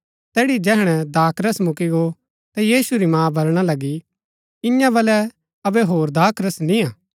तैड़ी जैहणै दाखरस मुक्‍की गो ता यीशु री मां बलणा लगी ईयां बलै अबै होर दाखरस नियां